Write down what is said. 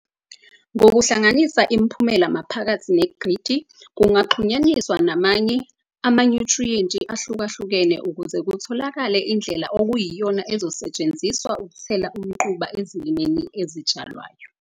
Ngokuhlanganisa imiphumela maphakathi negridi kungaxhunyaniswa namanye amanyuthriyenti ahlukahlukene ukuze kutholakale indlela okuyiyona ezosetsheniziswa ukuthela umquba ezilimeni ezitshalwayo.